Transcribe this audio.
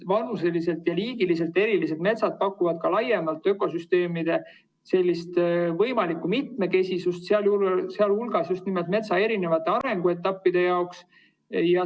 Vanuseliselt ja liigiliselt erinevad metsad pakuvad ka laiemalt ökosüsteemide võimalikku mitmekesisust, sealhulgas just nimelt metsa eri arenguetappide jaoks.